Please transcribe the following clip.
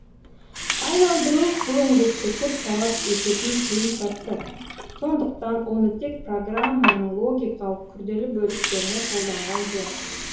айналдыру бұл еңбекті көп талап ететін қиын процесс сондықтан оны тек программаның логикалық күрделі бөліктеріне қолданған жөн